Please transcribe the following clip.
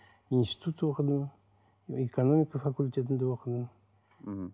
институт оқыдым экономика факультетінде оқыдым мхм